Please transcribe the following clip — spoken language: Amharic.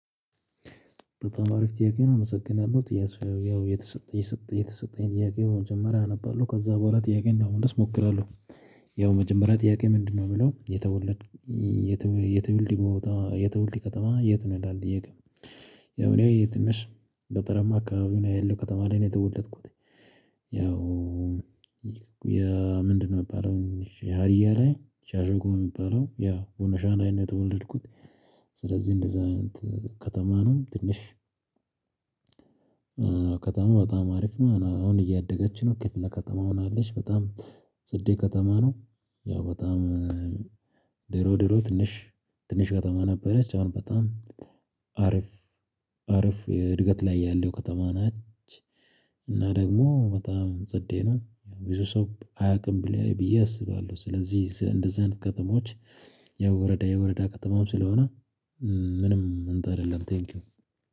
በጣም አሪፍ ጥያቄ ነው። አመሰግናለሁ ጥያቄ ያው የተሰጠ የተሰጠኝ ጥያቄ በመጀመሪያ አነባለሁ ከዛ በኋላ ጥያቄ ለመመለስ እሞክራለሁ። ያው መጀመሪያ ጥያቄ ምንድነው የሚለው የተወለድ የተወለድ የተወለድ የተወለደ ከተማ የት ነው ይላል ጥያቄ? ያው እኔ የት ነሽ በጠረማ አካባቢውና ያለው ከተማ ላይ ነው የተወለድኩት። ያው ምንድነው ነበር የሀርያ ላይ ሻርያ ላይ የሚባለው ያው ቦኖሻን አይነት የተወለድኩት። ስለዚህ እንደዛ ከተማ ነው ትንሽ ከተማ በጣም አሪፍ ነው። አሁን እያደገች ነው ክፍለ ከተማ ሆናለች በጣም ጽዴ ከተማ ነው። ያው በጣም ድሮ ድሮ ትንሽ ትንሽ ከተማ ነበረች። አሁን በጣም አሪፍ አሪፍ እድገት ላይ ያለይ ከተማ ናት። እና ደግሞ በጣም ጽዴ ነው ብዙ ሰው አያውቅም ብዬ አስባለሁ። ስለዚህ እንደዚህ አይነት ከተሞች የወረዳ የወረዳ ከተማ ስለሆነ። ምንም እንትን አይደለም ቴንኪው።